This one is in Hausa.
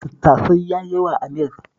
Tattasai ya yi yawa a miyar